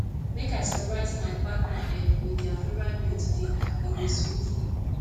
make i surprise my partner um with dia favorite meal today e go sweet